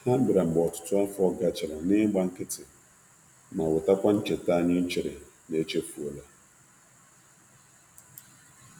Ha bịara mgbe ọtụtụ afọ gachara n'igba nkịtị, ma wetakwa ncheta anyị chere na echefuola.